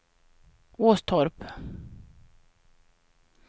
Åstorp